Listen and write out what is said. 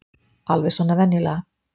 Alveg svona venjulega.